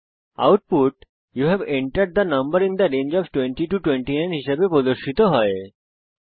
output you have entered the number in the range of 20 29 হিসাবে প্রদর্শিত হয়েছে